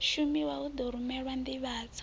shumiwa hu ḓo rumelwa nḓivhadzo